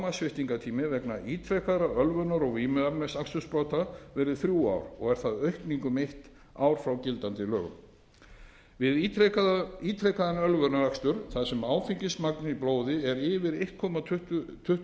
að lágmarkssviptingartími vegna ítrekaðra ölvunar og vímuefnaakstursbrota verði þrjú ár sem er aukning um eitt ár frá gildandi lögum við ítrekaðan ölvunarakstur þar sem áfengismagn í blóði er yfir einn komma